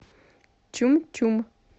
чум чум